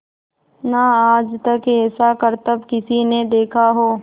ना आज तक ऐसा करतब किसी ने देखा हो